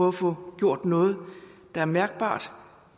at få gjort noget der er mærkbart